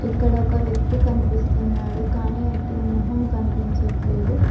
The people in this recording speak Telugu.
ఇక్కడ ఒక వ్యక్తి కనిపిస్తున్నాడు కానీ అతని మొహం కనిపించట్లేదు.